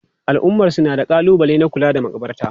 Al'ummarsu na da kalubale na kula da makabarta.